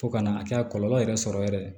Fo ka na a kɛ a kɔlɔlɔ yɛrɛ sɔrɔ yɛrɛ